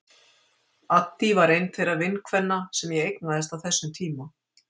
Addý var ein þeirra vinkvenna sem ég eignaðist á þessum tíma.